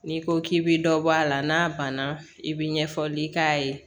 N'i ko k'i bɛ dɔ bɔ a la n'a banna i bɛ ɲɛfɔli k'a ye